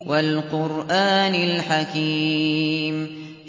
وَالْقُرْآنِ الْحَكِيمِ